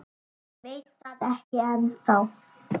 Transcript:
Ég veit það ekki ennþá.